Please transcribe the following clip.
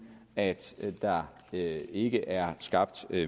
at der ikke er skabt